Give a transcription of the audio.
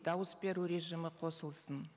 дауыс беру режимі қосылсын